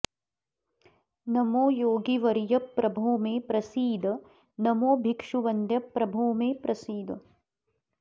नमो योगिवर्य प्रभो मे प्रसीद नमो भिक्षुवन्द्य प्रभो मे प्रसीद